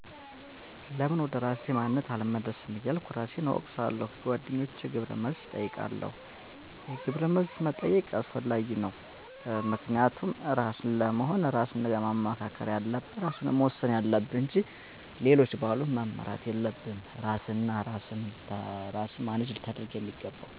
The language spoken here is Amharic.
ለምን ወደ እራሴ ማንነት አልመለስም እያልኩ እራሴን እወቅሳለሁ። ከጎደኛቸ ግብረ መልስ እጠይቃለሁ።